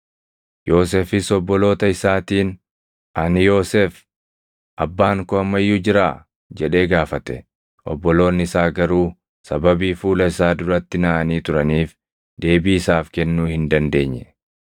Yoosefis obboloota isaatiin, “Ani Yoosef; abbaan koo amma iyyuu jiraa?” jedhee gaafate. Obboloonni isaa garuu sababii fuula isaa duratti naʼanii turaniif deebii isaaf kennuu hin dandeenye.